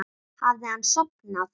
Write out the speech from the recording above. Hafði hann sofnað?